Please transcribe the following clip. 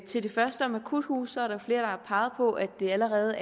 til det første om akuthuse er der flere der har peget på at det allerede